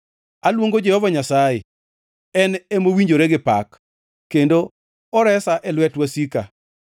Aluongo Jehova Nyasaye, en mowinjore gi pak, kendo oresa e lwet wasika.